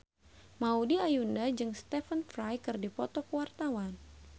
Maudy Ayunda jeung Stephen Fry keur dipoto ku wartawan